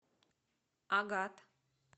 агат